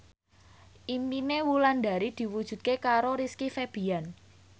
impine Wulandari diwujudke karo Rizky Febian